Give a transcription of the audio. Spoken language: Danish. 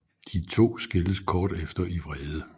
De to skilles kort efter i vrede